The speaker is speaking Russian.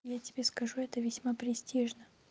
я тебе скажу это весьма престижно